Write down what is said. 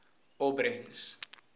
opbrengs